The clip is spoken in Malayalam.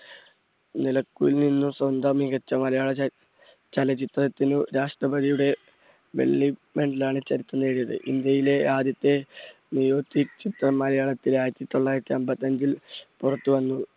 നീലക്കുയിലിൽ നിന്നും സ്വന്തം മികച്ച മലയാള ച~ചലച്ചിത്രത്തിന് രാഷ്ട്രപതിയുടെ വെള്ളി medal ലാണ് ചലച്ചിത്രം നേടിയത്. ഇന്ത്യയിലെ ആദ്യത്തെ ചിത്രം മലയാളത്തിലെ ആയിരത്തി തൊള്ളായിരത്തി അമ്പത്തഞ്ചിൽ പുറത്തു വന്നു.